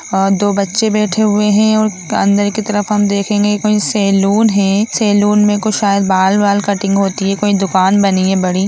और दो बच्चे बैठे हुए है और अंदर की तरफ हम देखेंगे कोई सैलून है सैलून में शायद कोई बाल वाल कटिंग होती है कोई दुकान बनी है बड़ी।